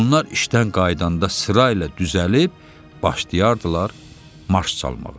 Onlar işdən qayıdanda sırayla düzəlib başlayırdılar marş çalmağa.